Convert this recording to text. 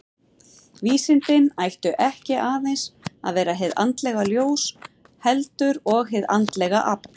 Vísindin ættu ekki aðeins að vera hið andlega ljós, heldur og hið andlega afl.